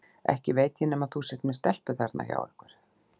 Ekki veit ég nema þú sért með stelpu þarna hjá ykkur.